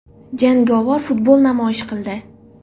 Jangovar futbol namoyish qildi.